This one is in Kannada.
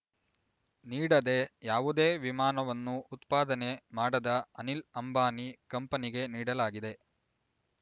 ನೀಡದೇ ಯಾವುದೇ ವಿಮಾನವನ್ನು ಉತ್ಪಾದನೆ ಮಾಡದ ಅನಿಲ್ ಅಂಬಾನಿ ಕಂಪನಿಗೆ ನೀಡಲಾಗಿದೆ